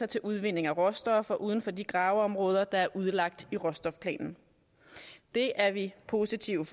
til udvinding af råstoffer uden for de graveområder der er udlagt i råstofplanen det er vi positivt